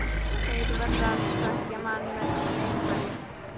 Þeir verða að svekkja mann með einhverju.